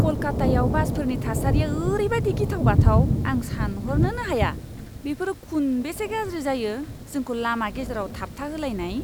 कलकातायाव बासफोरनि थासारिआ ओरैबायदि गिथाव बाथाव! आं सानह'रनोनो हाया बेफोरो खुनबेसे गाज्रि जायो, जोंखौ लामा गेजेराव थाबथाहोलायनाय।